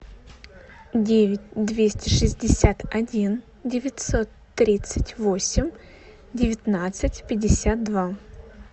девять двести шестьдесят один девятьсот тридцать восемь девятнадцать пятьдесят два